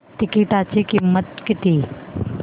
तिकीटाची किंमत किती